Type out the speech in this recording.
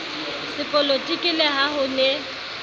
sepolotiki le ha ho ne